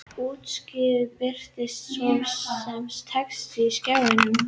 Úttakið birtist svo sem texti á skjánum.